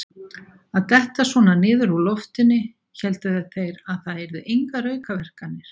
Að detta svona niður úr loftinu: héldu þeir það yrðu engar aukaverkanir?